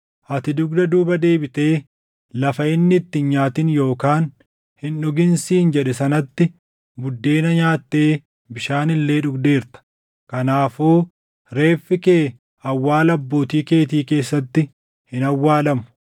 Ati dugda duuba deebitee lafa inni itti hin nyaatin yookaan hin dhugin siin jedhe sanatti buddeena nyaattee bishaan illee dhugdeerta. Kanaafuu reeffi kee awwaala abbootii keetii keessatti hin awwaalamu.’ ”